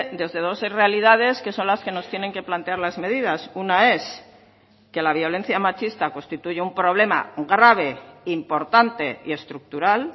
desde dos realidades que son las que nos tienen que plantear las medidas una es que la violencia machista constituye un problema grave importante y estructural